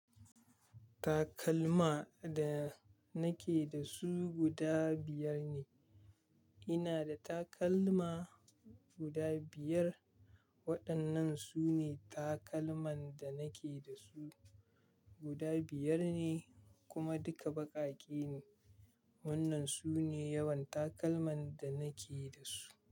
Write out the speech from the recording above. Takalma da nake da su guda biyar ne. Ina da takalma guda biyar. Waɗannan su ne takalman da nake da su. Guda biyar ne kuma duka baƙaƙe ne. Wannan su ne yawan takalman da nake da su.